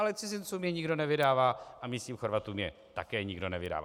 Ale cizincům je nikdo nevydává a místním Chorvatům je také nikdo nevydává.